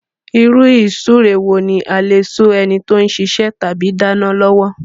Ìrú-ìsúre wo ní a lè sú enití o sisẹ́ tàbí dánán lọ́wọ́